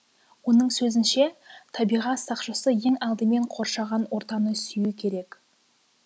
оның сөзінше табиғат сақшысы ең алдымен қоршаған ортаны сүю керек